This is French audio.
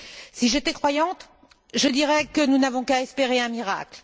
Si j'étais croyante, je dirais que nous n'avons qu'à espérer un miracle.